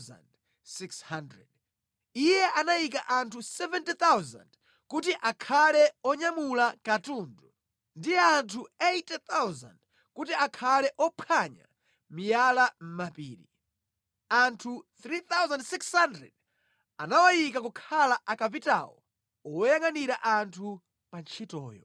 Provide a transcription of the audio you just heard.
Iye anayika anthu 70,000 kuti akhale onyamula katundu ndi anthu 80,000 kuti akhale ophwanya miyala mʼmapiri, anthu 3,600 anawayika kukhala akapitawo oyangʼanira anthu pa ntchitoyo.